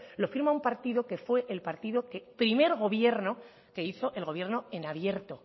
lo firma un partido que fue el partido que primer gobierno que hizo el gobierno en abierto